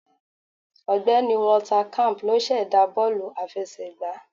Ọ̀gbẹ́ni Walter camp ló sẹ̀dá bọ́ọ̀lù àfẹsẹ̀gbá